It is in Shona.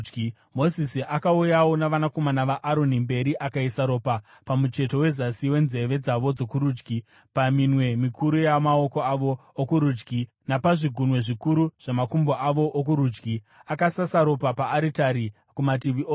Mozisi akauyawo navanakomana vaAroni mberi akaisa ropa pamucheto wezasi wenzeve dzavo dzokurudyi, paminwe mikuru yamaoko avo okurudyi napazvigunwe zvikuru zvamakumbo avo okurudyi. Akasasa ropa paaritari kumativi ose.